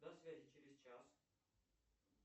до связи через час